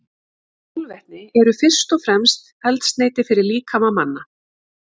Kolvetni eru fyrst og fremst eldsneyti fyrir líkama manna.